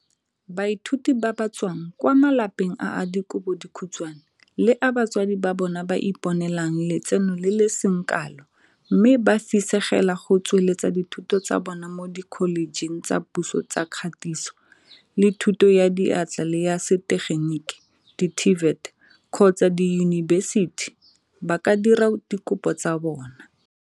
Baithuti ba ba tswang kwa malapeng a a dikobo dikhutshwane le a batsadi ba bona ba iponelang letseno le le seng kalo mme ba fisegela go tsweletsa dithuto tsa bona mo dikholejeng tsa puso tsa Katiso le Thuto ya Diatla le ya Setegenik di-TVET kgotsa diyunibesiti ba ka dira dikopo tsa bona.